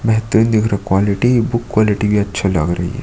बेहतरीन दिख रहा क्वालिटी बुक क्वालिटी भी अच्छी लग रही है।